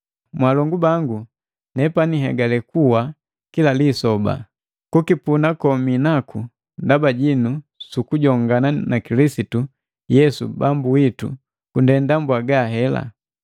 Mwaalongu bangu, nepani nhegale kuwa kila lisoba! Kukipuna kominaku ndaba jinu su kujongana na Kilisitu Yesu Bambu witu kundenda mbwaga hela.